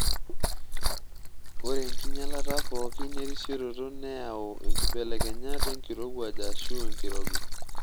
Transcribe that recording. Ore enkinyalata pookin erisioroto neyua nkibelekenyat enkirowuaj aashu enkirobi.